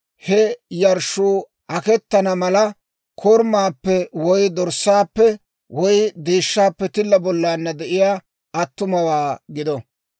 he yarshshuu akettana mala, korumaappe woy dorssaappe woy deeshshaappe tilla bollaanna de'iyaa attumawaa gido.